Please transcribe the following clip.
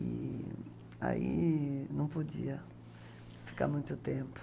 E aí não podia ficar muito tempo.